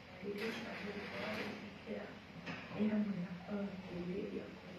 Ndariri cia mũrimũ wa gwĩthikĩra nĩ hamwe na kwaga kwĩrirĩria kũrĩa,